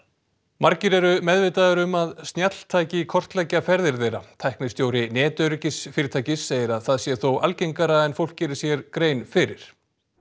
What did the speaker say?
margir eru meðvitaðir um að snjalltæki kortleggja ferðir þeirra tæknistjóri segir að það sé þó algengara en fólk geri sér grein fyrir